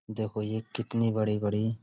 देखो ये कितनी बड़ी-बड़ी --